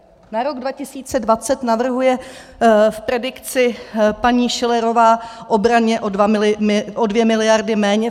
Na rok 2020 navrhuje v predikci paní Schillerová obraně o dvě miliardy méně.